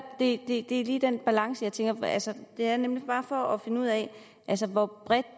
det er lige den balance jeg tænker på altså det er bare for at finde ud af hvor bredt